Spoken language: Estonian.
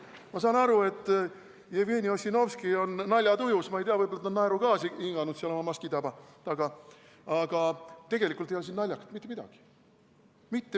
Ma saan aru, et Jevgeni Ossinovski on naljatujus, ma ei tea, võib-olla ta on naerugaasi hinganud seal oma maski taga, aga tegelikult ei ole siin naljakat mitte midagi.